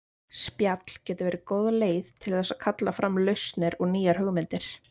Spjall getur verið góð leið til þess að kalla fram lausnir og nýjar hugmyndir.